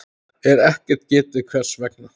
er ekkert getið hvers vegna.